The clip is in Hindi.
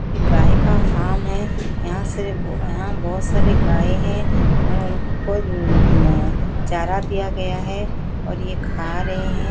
गाय का हॉल है यहां से यहां बहोत सारी गाय हैं उनको नन चारा दिया गया है और यह खा रहे हैं।